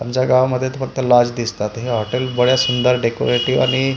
आमच्या गावामध्ये तर फक्त लाज दिसतात हे हॉटेल बडे सुंदर डेकोरेटीव आणि--